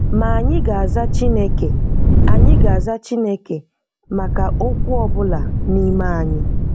Ma ànyị gà-azà Chineke ànyị gà-azà Chineke maka òkwú ọ bụla n’ime anyị.